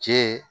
Cɛ